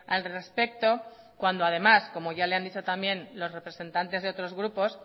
al respecto cuando además como ya le han dicho también los representantes de otros grupos